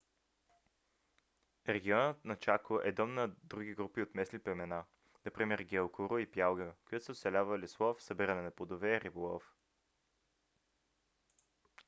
регионът на чако е дом на други групи от местни племена например гуайкуру и паягуа които са оцелявали с лов събиране на плодове и риболов